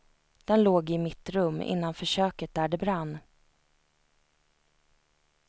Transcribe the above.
Den låg i mitt rum, innanför köket där det brann.